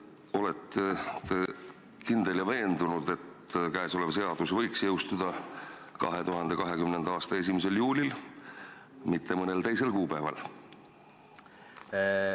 Olete te kindel ja veendunud, et käesolev seadus võiks jõustuda 2020. aasta 1. juulil, mitte mõnel teisel kuupäeval?